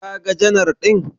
Kaga janar ɗin?